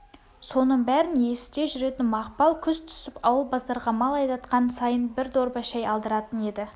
соның бәрін есіте жүретін мақпал күз түсіп ауыл базарға мал айдатқан сайын бір дорба шай алдыратын еді